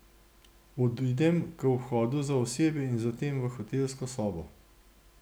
Odidem k vhodu za osebje in zatem v hotelsko sobo.